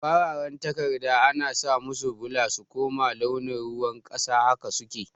fararan takarda ana samusu bula su kuma launin ruwan ƙasa haka suke